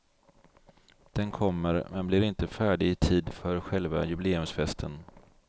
Den kommer, men blir inte färdig i tid för själva jubileumsfesten.